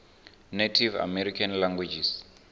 native american languages